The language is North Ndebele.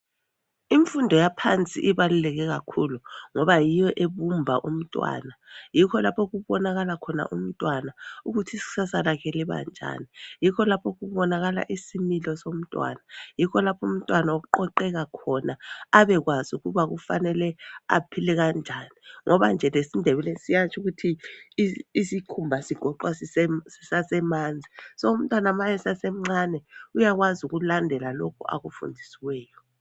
Imfundo yaphansi ibaluleke kakhulu ngoba yiyo ebumba umntwana ,yikho lapho okubonakala khona umntwana ukuthi iksasa lakhe liba njani, yikho lapho'kubonakala isimilo somntwana ,yikho lapho umntwana aqoqeka khona abekwazi ukuba kufanele amaphile kanjani ngoba nje lesiNdebele siyatsho ukuthi i isikhumba sigoqwa sise sisasemanzi so umntwana uma esasemncane uyakwazi Ukulandela lokho akufunfundisiweyo